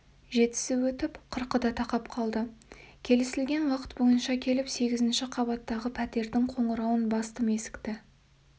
жетісі өтіп қырқы да тақап қалды келісілген уақыт бойынша келіп сегізінші қабаттағы пәтердің қоңырауын бастым есікті